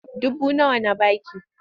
Duba nawa na ba ki!